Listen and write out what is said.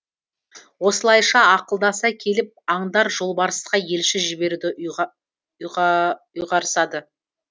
осылайша ақылдаса келіп аңдар жолбарысқа елші жіберуді ұйғарысады